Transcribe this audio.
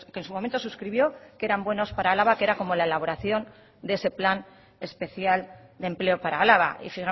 en su momento suscribió que eran buenos para álava que era como la elaboración de ese plan especial de empleo para álava y